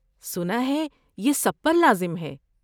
سنا ہے یہ سب پر لازم ہے۔